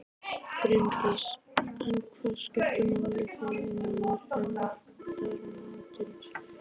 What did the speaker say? Bryndís: En hvað skiptir máli þegar maður eldar matinn?